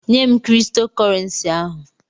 Nyem Kristo korensi ahụ!